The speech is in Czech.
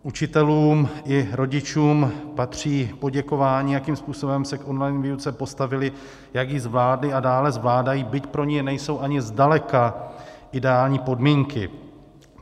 Učitelům i rodičům patří poděkování, jakým způsobem se k online výuce postavili, jak ji zvládli a dále zvládají, byť pro ni nejsou ani zdaleka ideální podmínky.